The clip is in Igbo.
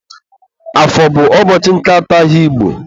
Afọ bụ ụbọchị nke atọ ahịa Igbo.